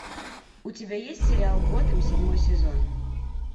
у тебя есть сериал готэм седьмой сезон